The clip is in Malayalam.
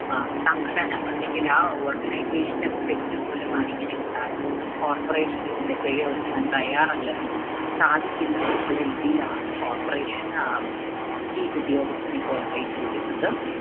ആഹ് സംഘടന അല്ലെങ്കിൽ ആ organization ന്റെ തെറ്റ് മൂലമാണ് ഇങ്ങനെ ഉണ്ടായതെന്നും Coporation ഇതിന്റെ പിഴ ഒടുക്കാൻ തയ്യാറല്ലെന്നും സാധിക്കില്ലെന്നും ഉള്ള രീതിയിലാണ് Corporation അഹ് chief ഉദ്യോഗസ്ഥൻ ഇപ്പോൾ അറിയിച്ചിരിക്കുന്നത്.